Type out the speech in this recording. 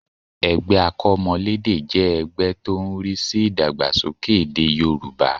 Ẹgbẹ́ akọ́mọlédè jẹ́ ẹgbẹ́ tó ń rí sí ìdàgbàsókè èdè Yorùbá